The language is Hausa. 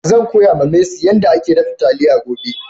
Zan koya ma mercy yan da ake dafa taliya gobe.